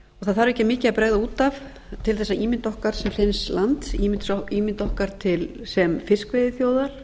það þarf ekki mikið að bregða út af til þess að ímynd okkar sem hreins lands ímynd okkar sem fiskveiðiþjóðar